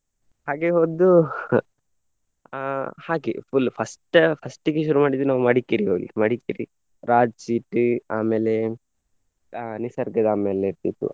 ಹಾಗೆ ಒಂದು ಅಹ್ ಹಾಗೆ full first first ಗೆ ಶುರು ಮಾಡಿದ್ದು ನಾವು ಮಡಿಕೇರಿಗೆ ಹೋಗ್ಲಿಕ್ಕೆ. ಮಡಿಕೇರಿ, ರಾಜಾಸೀಟ್ ಆಮೇಲೆ ಅಹ್ ನಿಸರ್ಗಧಾಮ ಎಲ್ಲ ಇರ್ತಿತ್ತು.